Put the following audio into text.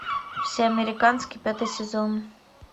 все американский пятый сезон